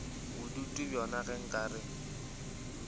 bodutu bjona ge nka re